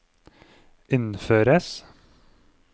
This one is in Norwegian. innføres